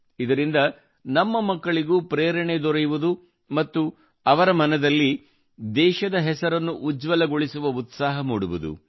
ಇದರಿಂದ ನಮ್ಮ ಮಕ್ಕಳಿಗೂ ಪ್ರೇರಣೆ ದೊರೆಯುವುದು ಮತ್ತು ಅವರ ಮನದಲ್ಲಿ ದೇಶದ ಹೆಸರನ್ನು ಉಜ್ವಲಗೊಳಿಸುವ ಉತ್ಸಾಹ ಮೂಡುವುದು